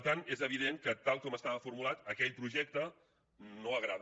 per tant és evident que tal com estava formulat aquell projecte no agrada